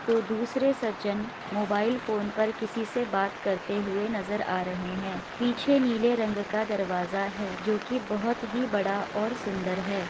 तो दूसरे सज्जन मोबाइल फोन पर किसी से करते हुए नजर आ रहे हैं पीछे नीले रंग का दरवाजा है जो की बहुत ही बड़ा और सुंदर है।